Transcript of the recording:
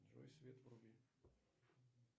джой свет вруби